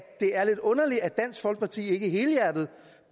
det er lidt underligt at dansk folkeparti ikke helhjertet